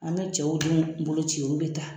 An bɛ cɛw denw boloci olu bɛ taa